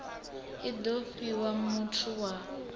i do fhiwa muthu wa